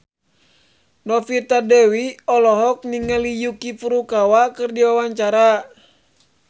Novita Dewi olohok ningali Yuki Furukawa keur diwawancara